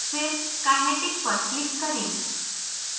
फिर kinetic पर click करें